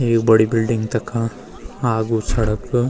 एक बड़ी बिलडिंग तखा आगू सड़क।